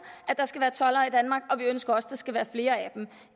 der skal være toldere i danmark og vi ønsker også at der skal være flere af dem